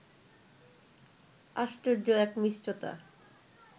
আশ্চর্য এক মিষ্টতা